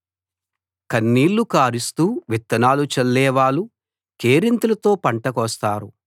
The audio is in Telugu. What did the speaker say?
కన్నీళ్లు కారుస్తూ విత్తనాలు చల్లేవాళ్ళు కేరింతలతో పంట కోస్తారు